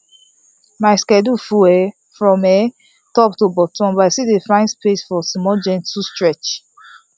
my schedule full um from um top to bottom but i still dey find space for small gentle stretch